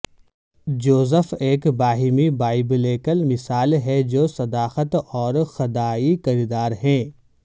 Joseph ایک باہمی biblical مثال ہے جو صداقت اور خدای کردار ہے